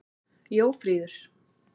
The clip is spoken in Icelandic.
Jófríður